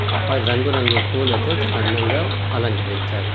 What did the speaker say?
ఆ ప-రంగు రంగు పూలతో చాలా అందంగా అలంకరించారు.